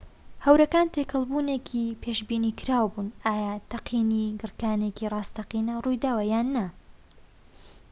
هەورەکان تێکەڵ بوونێکی پێشبینیکراو بوون ئایا تەقینی گڕکانێکی ڕاستەقینە ڕوویداوە یان نا